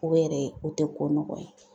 O yɛrɛ o te ko nɔgɔn ye.